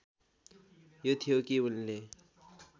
यो थियो कि उनले